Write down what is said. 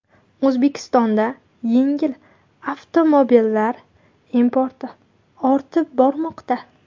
O‘zbekistonda yengil avtomobillar importi ortib bormoqda.